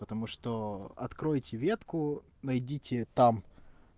потому что откройте ветку найдите там